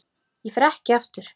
Ég fer ekki aftur.